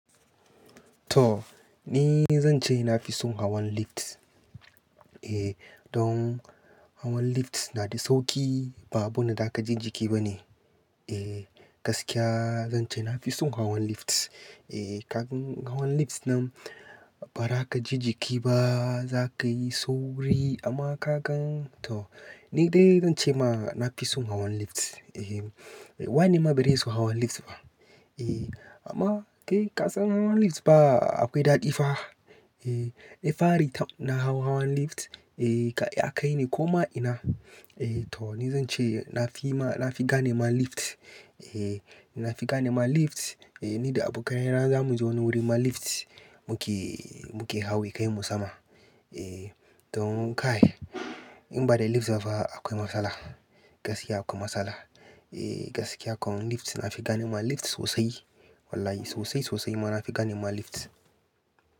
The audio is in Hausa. To! Ni zan ce na fi son hawan lift. Eh, don hawan lift na da sauki ba abin da za ka ji jiki ba ne. Eh, gaskiya zan ce na fi son hawan lift. Eh, ka gan hawan lift nan ba za ka ji jiki ba, za ka yi sauri amma ka gan to! Ni dai zan ce ma na fi son hawan lift. Eh, wane ma bai dai so hawan lift ba? Eh, amma kai ka san hawan lift ba akwai daɗi fa. Eh, in fari ta na hau hawan lift, eh, ya kai ni koma ina. Eh to! Ni zan ce na fi ma, na fi ganema lift. Eh, na fi ganema lift. Eh, ni da abokaina za mu je wani wurin ma lift muke, muke hawa ya kai mu sama. Eh, don ka kai in ba da lift zafa akwai matsala. Gaskiya akwai matsala. Eh, gaskiya kan lift na fi ganema lift sosai. Wallahi sosai, sosai ma na fi ganema lift.